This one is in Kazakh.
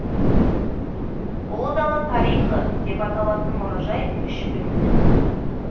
ұлы дала тарихы деп аталатын мұражай үш бөлімнен тұрады